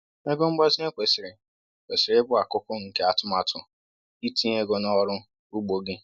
Ego mgbazinye kwesịrị kwesịrị ịbụ akụkụ nke atụmatụ itinye ego n’ọrụ ugbo gị.